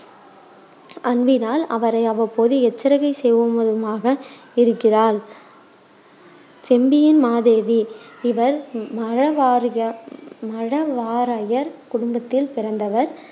அன்பினால் அவரை அவ்வப்போது எச்சரிக்கை செய்வவதுமாக இருக்கிறார் செம்பியன் மாதேவி இவர் மழவாறையர் குடும்பத்தில் பிறந்தவர்.